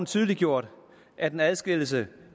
tydeliggjort at en adskillelse